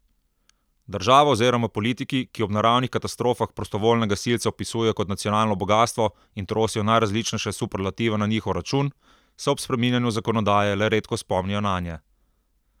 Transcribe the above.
Država oziroma politiki, ki ob naravnih katastrofah prostovoljne gasilce opisujejo kot nacionalno bogastvo in trosijo najrazličnejše superlative na njihov račun, se ob spreminjanju zakonodaje le redko spomnijo nanje.